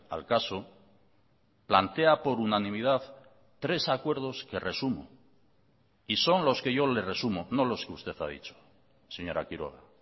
al caso plantea por unanimidad tres acuerdos que resumo y son los que yo le resumo no los que usted ha dicho señora quiroga